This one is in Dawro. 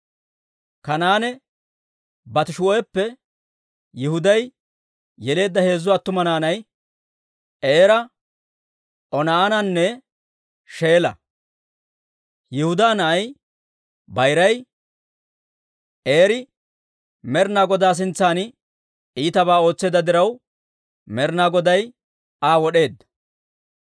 Kanaane Baatishu'ippe Yihuday yeleedda heezzu attuma naanay Eera, Oonaananne Sheela. Yihudaa na'ay bayiray, Eeri Med'inaa Godaa sintsan iitabaa ootseedda diraw, Med'inaa Goday Aa wod'eedda.